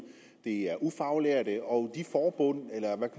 og ufaglærte og